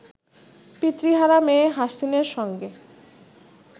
পিতৃহারা মেয়ে হাসিনের সঙ্গে